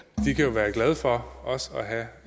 være glade for også at have